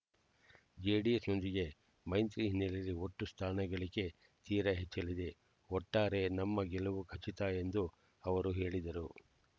JDS ನೊಂದಿಗೆ ಮೈತ್ರಿ ಹಿನ್ನೆಲೆಯಲ್ಲಿ ಒಟ್ಟು ಸ್ಥಾನ ಗಳಿಕೆ ತೀರ ಹೆಚ್ಚಲಿದೆ ಒಟ್ಟಾರೆ ನಮ್ಮ ಗೆಲುವು ಖಚಿತ ಎಂದು ಅವರು ಹೇಳಿದರು